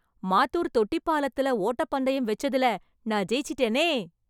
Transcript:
மாத்தூர் தொட்டி பாலத்துல ஓட்டப் பந்தயம் வெச்சதுல நான் ஜெயிச்சிட்டேனே..